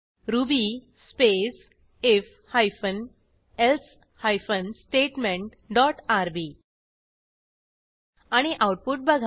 ruby space IF hyphen else hyphen statement dot RB आणि output बघा